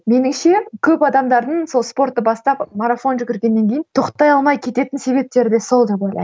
меніңше көп адамдардың сол спортты бастап марафон жүгіргеннен кейін тоқтай алмай кететін себептері де сол деп ойлаймын